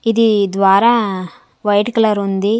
ఇది ద్వారా white colour ఉంది.